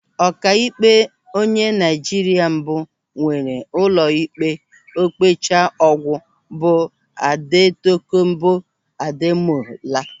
Ọkaikpe onye Naịjirịa mbụ enwere ụlọikpe okpecha ọgwụ bụ Adetokonbo Ademola.